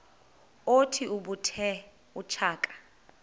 othi ubethe utshaka